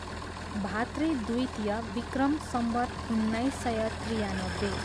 भातृ द्वितीय, वि.स. उन्नाइस सय त्रियानब्बे